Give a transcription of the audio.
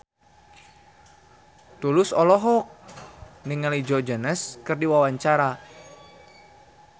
Tulus olohok ningali Joe Jonas keur diwawancara